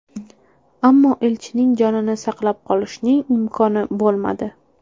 Ammo elchining jonini saqlab qolishning imkoni bo‘lmadi.